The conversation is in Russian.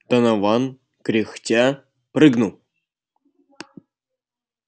донован кряхтя прыгнул